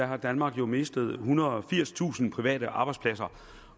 har danmark jo mistet ethundrede og firstusind private arbejdspladser